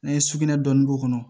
N'an ye sugunɛ dɔɔni k'o kɔnɔ